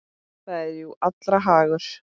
Það er jú allra hagur.